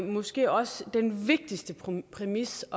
måske også den vigtigste præmis